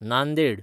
Nanded